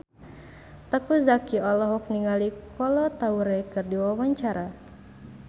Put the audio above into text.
Teuku Zacky olohok ningali Kolo Taure keur diwawancara